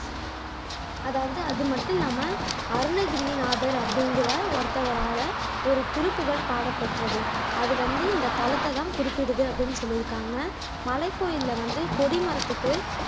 அதாவது அது மட்டும் இல்லாம அருணகிரிநாதர் அப்படிங்கிற ஒருத்தரால ஒரு திருப்புகழ் பாடப்பட்டது. அது வந்து இந்த தலத்தைதான் குறிப்பிடுது அப்படின்னு சொல்லியிருக்காங்க மலைக்கோயில்ல வந்து கொடி மரத்துக்கு